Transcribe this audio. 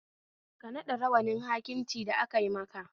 Ka naɗa rawanin hakimci da akai maka